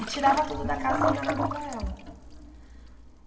E tirava tudo da casa sem dar nada para ela.